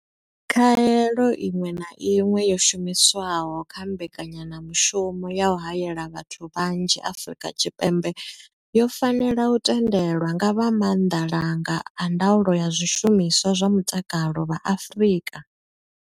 Khaelo iṅwe na iṅwe yo shumiswaho kha mbekanyamushumo ya u haela vhathu vhanzhi Afrika Tshipembe yo fanela u tendelwa nga vha maanḓalanga a ndaulo ya zwishumiswa zwa mutakalo vha Afrika.